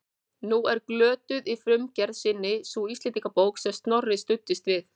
Nú er glötuð í frumgerð sinni sú Íslendingabók sem Snorri studdist við.